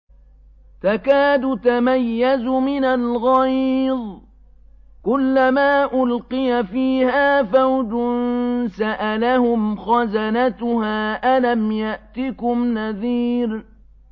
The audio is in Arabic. تَكَادُ تَمَيَّزُ مِنَ الْغَيْظِ ۖ كُلَّمَا أُلْقِيَ فِيهَا فَوْجٌ سَأَلَهُمْ خَزَنَتُهَا أَلَمْ يَأْتِكُمْ نَذِيرٌ